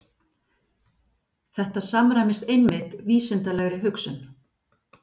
Þetta samræmist einmitt vísindalegri hugsun.